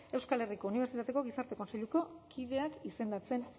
euskal herriko unibertsitateko gizarte kontseiluko kideak izendatzen